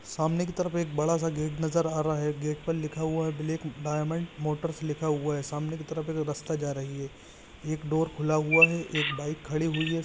सामने के तरफ एक बड़ा सा गेट नजर आ रहा है गेट पर लिखा है ब्लैक डैमंड्स मोटर्स लिखा हुआ है सामने के तरफ एक रास्ता जा रही है एक डोर खुला हुआ है एक बाइक खडी़ हुई है।